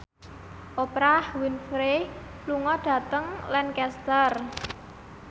Oprah Winfrey lunga dhateng Lancaster